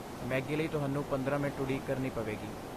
Maggi ਲਈ ਤੁਹਾਨੂੰ ਪੰਦਰਾਂ ਮਿੰਟ ਉਡੀਕ ਕਰਨੀ ਪਵੇਗੀ